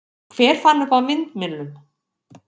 Hver fann upp á vindmyllum?